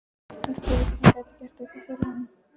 Hún spurði hvort hún gæti gert eitthvað fyrir hann.